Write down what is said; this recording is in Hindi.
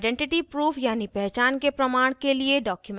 आइडेंटिटी proof यानी पहचान के प्रमाण के लिए documents